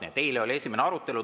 Nii et eile oli esimene arutelu.